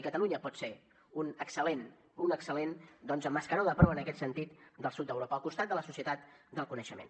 i catalunya pot ser un excel·lent un excel·lent doncs mascaró de proa en aquest sentit del sud d’europa al costat de la societat del coneixement